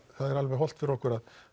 er alveg hollt fyrir okkur